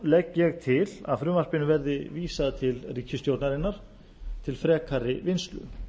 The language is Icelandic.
legg ég til að frumvarpinu verði vísað til ríkisstjórnarinnar til frekari vinnslu